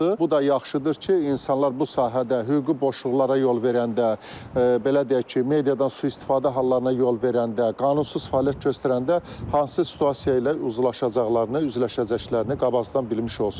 Bu da yaxşıdır ki, insanlar bu sahədə hüquqi boşluqlara yol verəndə, belə deyək ki, mediadan sui-istifadə hallarına yol verəndə, qanunsuz fəaliyyət göstərəndə hansı situasiya ilə uzlaşacaqlarını, üzləşəcəklərini qabaqcadan bilmiş olsunlar.